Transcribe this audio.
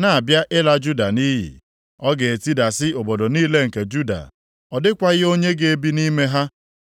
na-abịa ịla Juda nʼiyi. Ọ ga-etidasị obodo niile nke Juda, ọ dịkwaghị onye ga-ebi nʼime ha.